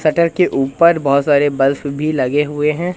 Shutter के ऊपर बहुत सारे बल्फ भी लगे हुए हैं।